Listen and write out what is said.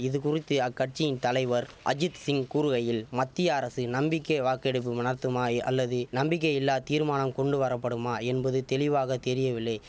இது குறித்து அக்கட்சியின் தலைவர் அஜித் சிங் கூறுகையில் மத்திய அரசு நம்பிக்கை வாக்கெடுப்பு நத்துமாய் அல்லது நம்பிக்கையில்லா தீர்மானம் கொண்டு வரப்படுமா என்பது தெளிவாக தெரியவில்லை